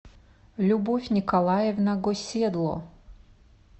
любовь николаевна госедло